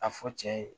A fɔ cɛ ye